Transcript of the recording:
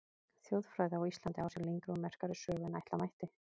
Þjóðfræði á Íslandi á sér lengri og merkari sögu en ætla mætti.